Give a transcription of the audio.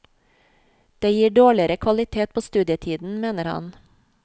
Det gir dårligere kvalitet på studietiden, mener han.